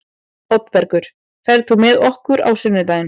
Oddbergur, ferð þú með okkur á sunnudaginn?